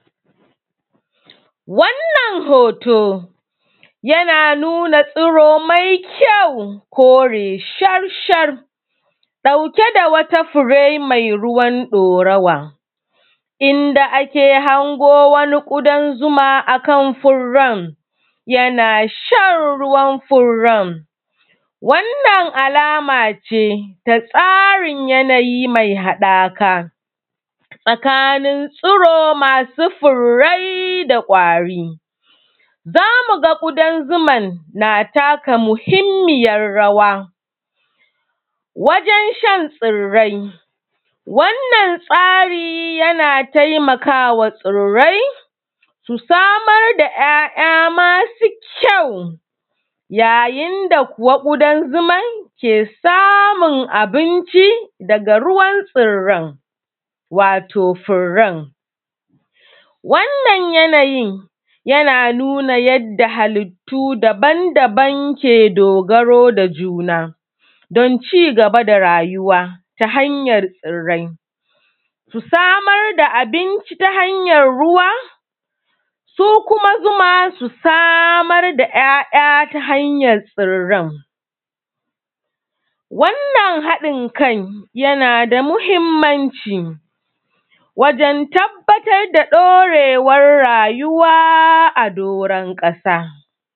Wannan hoto, yana nuna tsuro mai kyau, kore shar-shar ɗauke da wata fure mai ruwan ɗorawa. Inda aka hango wani ƙudan zuma a kan furran, yana shan ruwan furan. Wannan alama ce ta tsarin yanayi mai haɗaka tsakanin tsuro masu furrai da ƙwari. Za mu ga ƙudan zuman, na taka muhimmiyar rawa, wajen shan tsirrai. Wannan tsari yana taimaka wa tsirrai, su samar da ‘ya’ya masu kyau, yayin da kuwa ƙudan zuman, ke samun abinci, daga ruwan tsirran, wato furan. Wannan yanayin, yana nuna yadda halittu daban-daban ke dogaro da juna, don cigaba da rayuwa ta hanyar tsirrai. Su samar da abinci ta hanyar ruwa, su kuma zuma su samar da ‘ya’ya ta hanyar tsirran, wannan haɗin kan, yana da muhimmanci, wajen tabbatar da ɗorewar rayuwa a doron ƙasa.